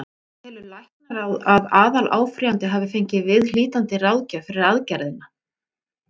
Telur læknaráð, að aðaláfrýjandi hafi fengið viðhlítandi ráðgjöf fyrir aðgerðina?